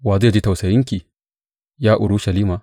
Wa zai ji tausayinki, ya Urushalima?